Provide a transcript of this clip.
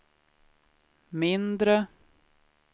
mindre